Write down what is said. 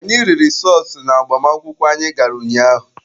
Anyị riri sọọsụ n'agbamakwụkwọ anyị gara ụnyaahụ.